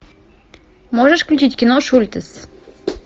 можешь включить кино шультес